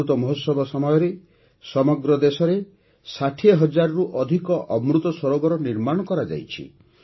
ଅମୃତ ମହୋତ୍ସବ ସମୟରେ ସମଗ୍ର ଦେଶରେ ୬୦ ହଜାରରୁ ଅଧିକ ଅମୃତ ସରୋବର ନିର୍ମାଣ କରାଯାଇଛି